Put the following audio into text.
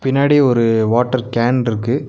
பின்னாடி ஒரு வாட்டர் கேன்ருக்கு .